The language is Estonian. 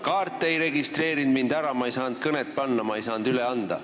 Kaart ei registreerinud mind ära, ma ei saanud kõnet kirja panna, ma ei saanud üle anda.